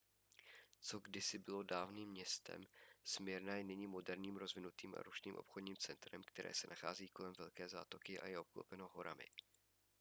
co kdysi bylo dávným městem smyrna je nyní moderním rozvinutým a rušným obchodním centrem které se nachází kolem velké zátoky a je obklopeno horami